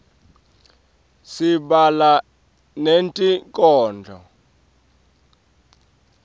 sibhala netinkhondlo